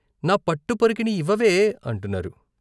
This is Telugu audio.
నా పట్టు పరికిణీ ఇవ్వవే " అంటున్నారు.